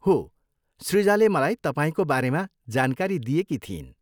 हो, सृजाले मलाई तपाईँको बारेमा जानकारी दिएकी थिइन्।